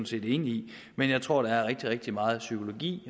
set enig i men jeg tror der er rigtig rigtig meget psykologi